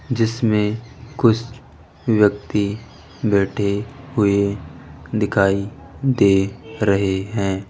जिसमें कुछ व्यक्ति बैठे हुए दिखाई दे रहे है।